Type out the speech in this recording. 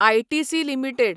ITC limited